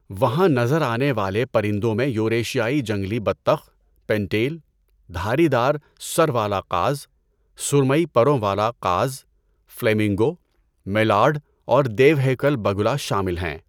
وہاں نظر آنے والے پرندوں میں یوریشیائی جنگلی بطخ، پنٹیل، دھاری دار سر والا قاز، سرمئی پروں والا قاز، فلیمنگو، میلارڈ اور دیوہیکل بگلا شامل ہیں۔